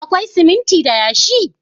Akwai siminti da yashi?